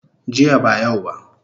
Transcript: Jiya ba yau ba